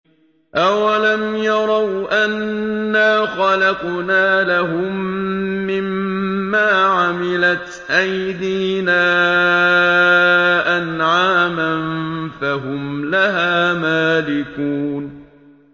أَوَلَمْ يَرَوْا أَنَّا خَلَقْنَا لَهُم مِّمَّا عَمِلَتْ أَيْدِينَا أَنْعَامًا فَهُمْ لَهَا مَالِكُونَ